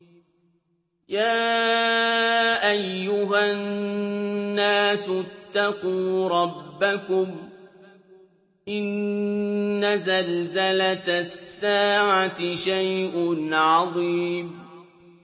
يَا أَيُّهَا النَّاسُ اتَّقُوا رَبَّكُمْ ۚ إِنَّ زَلْزَلَةَ السَّاعَةِ شَيْءٌ عَظِيمٌ